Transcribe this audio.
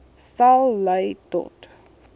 sal lei tot